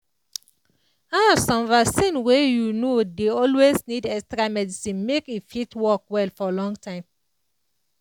ah some vaccine wey you know dey always need extra medicine make e fit work well for long time